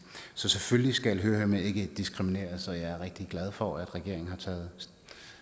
så selvfølgelig skal hørehæmmede ikke diskrimineres og jeg er rigtig glad for at regeringen har taget